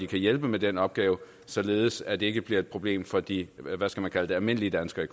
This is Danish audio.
kan hjælpe med den opgave således at det ikke bliver et problem for de almindelige danskere